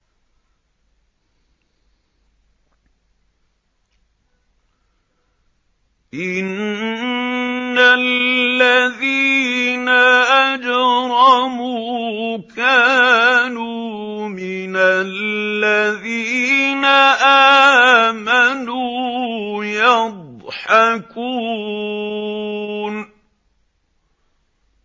إِنَّ الَّذِينَ أَجْرَمُوا كَانُوا مِنَ الَّذِينَ آمَنُوا يَضْحَكُونَ